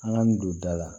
An ka min don da la